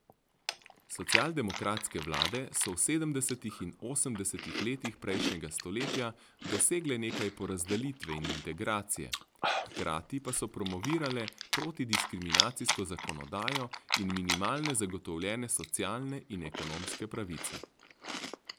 Socialdemokratske vlade so v sedemdesetih in osemdesetih letih prejšnjega stoletja dosegle nekaj porazdelitve in integracije, hkrati pa so promovirale protidiskriminacijsko zakonodajo in minimalne zagotovljene socialne in ekonomske pravice.